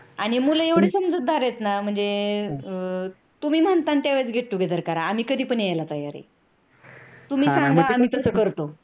आणि मुल एवढे समजूतदार आहेत न म्हणजे तुम्ही म्हणता तेव्हा get together करा, आम्ही केव्हा पण येयला तयार आहे. तुम्ही सांगा आम्ही तसं करतो.